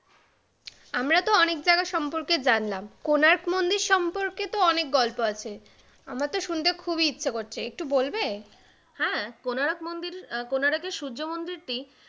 আমরা তো অনেক জায়গা সম্পর্কে জানলাম, কোণার্ক মন্দির সম্পর্কে তো অনেক গল্প আছে, আমার তো শুনতে খুবই ইচ্ছা করছে, একটু বলবে? হ্যাঁ কোনারক মন্দির, কোনারক এর সূর্য মন্দির টি